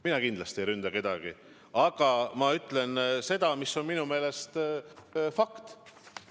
Mina kindlasti ei ründa kedagi, aga ma ütlen seda, mis on minu meelest fakt.